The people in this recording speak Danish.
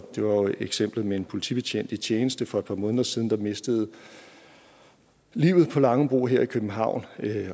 eksemplet med en politibetjent i tjeneste for et par måneder siden der mistede livet på langebro her i københavn